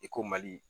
I ko mali